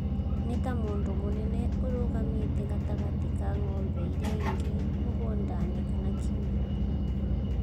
Nĩ ta mũndũ mũnene ũrũgamĩte gatagatĩ ka ng'ombe iria ingĩ mũgũnda-inĩ kana kũũgo-inĩ.